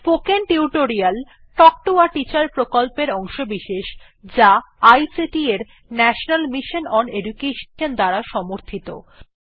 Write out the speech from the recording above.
spoken tutorial talk to a teacher প্রকল্পের অংশবিশেষ যা আইসিটি এর ন্যাশনাল মিশন ওন এডুকেশন দ্বারা সমর্থিত